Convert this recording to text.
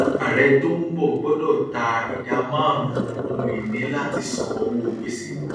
ààrẹ tó ń bọ gbọdọ ta ìdá márùnún ohunìní láti san owó gbèsè